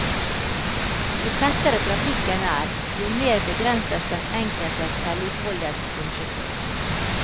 Jo tettere trafikken er, jo mer begrenses den enkeltes selvutfoldelse som sjåfør.